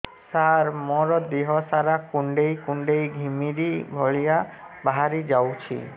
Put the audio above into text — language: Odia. ସାର ମୋର ଦିହ ସାରା କୁଣ୍ଡେଇ କୁଣ୍ଡେଇ ଘିମିରି ଭଳିଆ ବାହାରି ଯାଉଛି